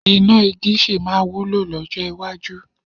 Iná igi sì máa wúlò lọ́jọ́ iwájú.